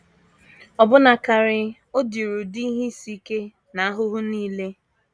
Ọbụna karị, o diri ụdị ihe isi ike na ahụhụ nile.